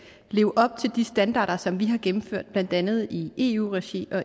leve op til de standarder som vi har gennemført blandt andet i eu regi og